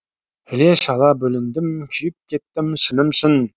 іле шала бүліндім күйіп кеттім шыным шын